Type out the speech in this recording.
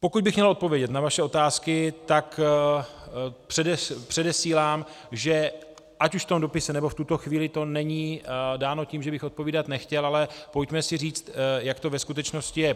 Pokud bych měl odpovědět na vaše otázky, tak předesílám, že ať už v tom dopise, nebo v tuto chvíli to není dáno tím, že bych odpovídat nechtěl, ale pojďme si říct, jak to ve skutečnosti je.